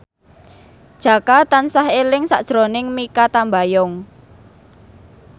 Jaka tansah eling sakjroning Mikha Tambayong